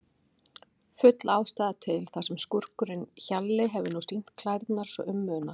Full ástæða til, þar sem skúrkurinn Hjalli hefur nú sýnt klærnar svo um munar.